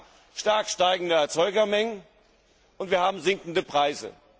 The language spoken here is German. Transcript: liegt. Wir haben stark steigende Erzeugermengen, und wir haben sinkende